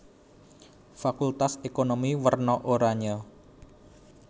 Fakultas Ekonomi werna oranye